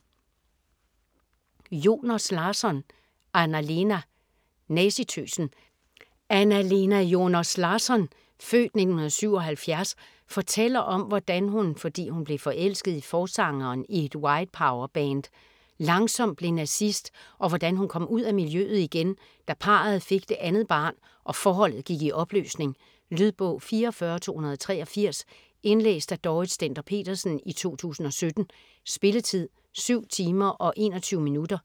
Joners Larsson, Anna-Lena: Nazitøsen Anna-Lena Joners Larsson (f. 1977) fortæller om hvordan hun, fordi hun blev forelsket i forsangeren i et White Power-band, langsomt blev nazist, og hvordan hun kom ud af miljøet igen, da parret fik det andet barn og forholdet gik i opløsning. Lydbog 44283 Indlæst af Dorrit Stender-Petersen, 2017. Spilletid: 7 timer, 21 minutter.